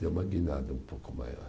Deu uma guinada um pouco maior.